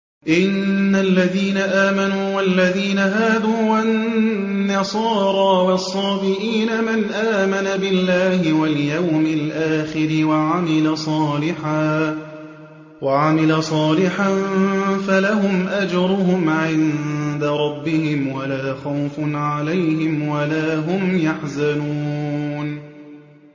إِنَّ الَّذِينَ آمَنُوا وَالَّذِينَ هَادُوا وَالنَّصَارَىٰ وَالصَّابِئِينَ مَنْ آمَنَ بِاللَّهِ وَالْيَوْمِ الْآخِرِ وَعَمِلَ صَالِحًا فَلَهُمْ أَجْرُهُمْ عِندَ رَبِّهِمْ وَلَا خَوْفٌ عَلَيْهِمْ وَلَا هُمْ يَحْزَنُونَ